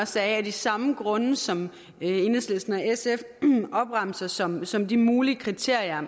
sagde af de samme grunde som enhedslisten og sf opremser som som de mulige kriterier